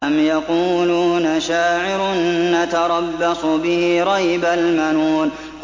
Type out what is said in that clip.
أَمْ يَقُولُونَ شَاعِرٌ نَّتَرَبَّصُ بِهِ رَيْبَ الْمَنُونِ